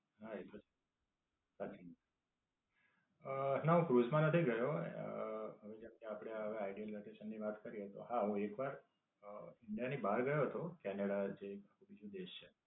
હાં, એતો છે. સાચી. અમ ના, હું ક્રુઝ માં નથી ગયો અમ હવે જેમકે આપડે The ideal vacation ની વાત કરીયે તો હા હું એકવાર અમ India ની બહાર ગયો હતો ત્યાંના જે બીજુ દેશ છે.